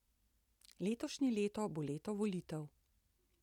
Letošnje leto bo leto volitev.